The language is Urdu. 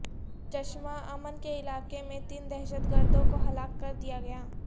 چشمہ امن کے علاقے میں تین دہشت گردوں کو ہلاک کردیا گیا